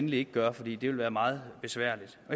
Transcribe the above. vi ikke gøre for det vil være meget besværligt